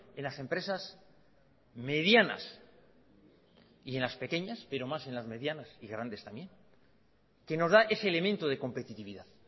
en las empresas medianas y en las pequeñas pero más en las medianas y grandes también que nos da ese elemento de competitividad